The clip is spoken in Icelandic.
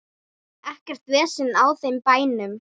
Ekkert vesen á þeim bænum.